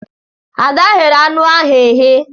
Ada ghere anụ ahụ eghe.